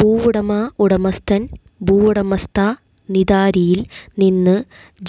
ഭൂവുടമ ഉടമസ്ഥൻ ഭൂവുടമസ്ഥാ നിതാരിയിൽ നിന്ന്